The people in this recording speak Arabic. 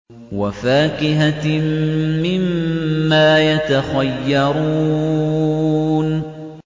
وَفَاكِهَةٍ مِّمَّا يَتَخَيَّرُونَ